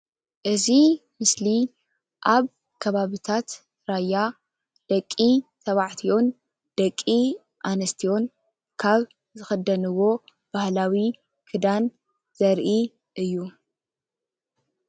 እዚ ምስሊ እዚ ኣብ ኣብ ከባቢታት ራያ ደቂ ተባዕትዮን ደቂ ኣንስትዮን ካብ ዝክደንዎ ባህላዊ ክዳን ዘርኢ እዩ፡፡